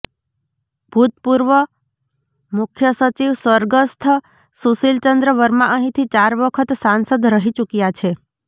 ભૂતપૂર્વ મુખ્ય સચિવ સ્વર્ગસ્થ સુશીલચંદ્ર વર્મા અહીંથી ચાર વખત સાંસદ રહી ચુક્યા છે